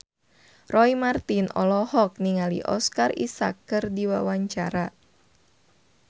Roy Marten olohok ningali Oscar Isaac keur diwawancara